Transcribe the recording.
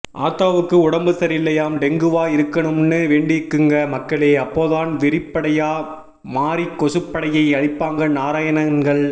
ஆத்தாவுக்கு உடம்பு சரியில்லையாம் டெங்குவா இருக்கனும்ன்னு வேண்டிக்குங்க மக்களே அப்போதான் வெறிபடையா மாறி கொசுபடையை அழிப்பாங்க நாராயணன்கள்